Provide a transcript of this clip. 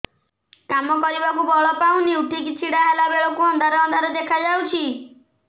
କାମ କରିବାକୁ ବଳ ପାଉନି ଉଠିକି ଛିଡା ହେଲା ବେଳକୁ ଅନ୍ଧାର ଅନ୍ଧାର ଦେଖା ଯାଉଛି